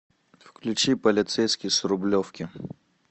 включи полицейский с рублевки